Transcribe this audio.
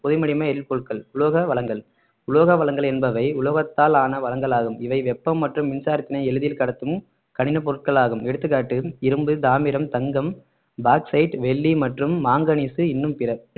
புதை மடிம எரிபொருள்கள் உலோக வளங்கள் உலோக வளங்கள் என்பவை உலோகத்தால் ஆன வளங்களாகும் இவை வெப்பம் மற்றும் மின்சாரத்தினை எளிதில் கடத்தும் கடின பொருட்களாகும் எடுத்துக்காட்டு இரும்பு தாமிரம் தங்கம் பாக்ஸைட் வெள்ளி மற்றும் மாங்கனிஸ் இன்னும் பிற